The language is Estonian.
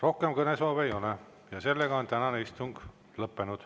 Rohkem kõnesoove ei ole ja tänane istung on lõppenud.